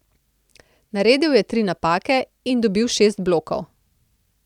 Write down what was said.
Naredil je tri napake in dobil šest blokov.